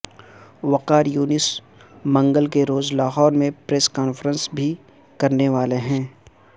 وقار یونس منگل کے روز لاہور میں پریس کانفرنس بھی کرنے والے ہیں